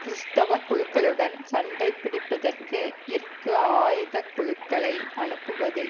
கிறிஸ்தவ குழுக்களுடன் சண்டை பிடிப்பதற்கு இற்கு ஆயுதக்குழுக்களை அனுப்புவதில்